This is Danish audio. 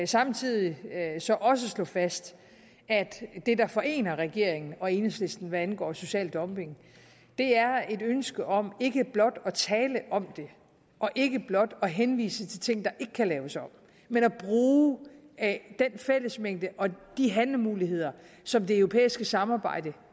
samtidig så også slå fast at det der forener regeringen og enhedslisten hvad angår social dumping er et ønske om ikke blot at tale om det og ikke blot at henvise til ting der ikke kan laves om men at bruge af den fællesmængde og de handlemuligheder som det europæiske samarbejde